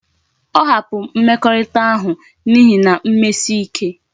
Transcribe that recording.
O hapuru mmekorita ahu na ihi mmesike